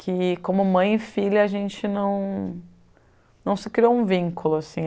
Que, como mãe e filha, a gente não... não se criou um vínculo, assim.